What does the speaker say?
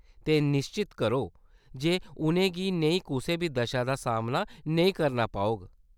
ते, निश्चत करो जे उʼनें गी नेही कुसै बी दशा दा सामना नेईं करना पौग।